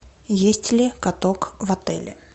есть ли каток в отеле